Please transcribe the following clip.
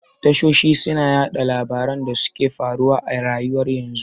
Tashoshi suna yaɗa labaran da suke faruwa a rayuwar yanzu